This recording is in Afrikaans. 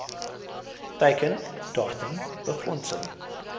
teiken datum befondsing